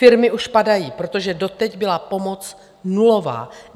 Firmy už padají, protože doteď byla pomoc nulová.